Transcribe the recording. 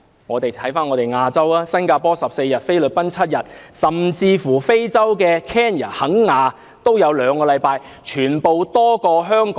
回看亞洲地區，新加坡的侍產假有14天，菲律賓有7天，甚至非洲肯雅也有兩星期。